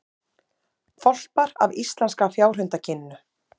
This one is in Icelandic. Hvolpar af íslenska fjárhundakyninu